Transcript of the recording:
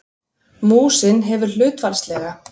Músin hefur hlutfallslega